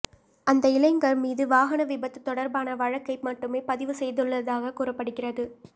அந்த இளைஞர் மீது வாகன விபத்து தொடர்பான வழக்கை மட்டுமே பதிவு செய்துள்ளதாக கூறப்படுகிறது